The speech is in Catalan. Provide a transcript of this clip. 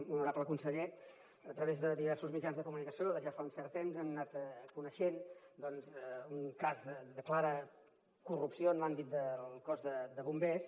honorable conseller a través de diversos mitjans de comunicació des de ja fa un cert temps hem anat coneixent doncs un cas de clara corrupció en l’àmbit del cos de bombers